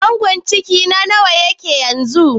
zangon ciki na nawa kike yanzu?